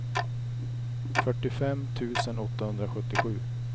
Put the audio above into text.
fyrtiofem tusen åttahundrasjuttiosju